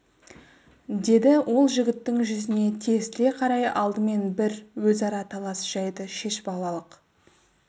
деді ол жігіттің жүзіне тесіле қарай алдымен бір өзара талас жәйді шешіп алалық